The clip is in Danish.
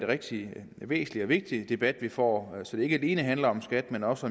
rigtig væsentlig og vigtig debat vi får så det ikke alene handler om skat men også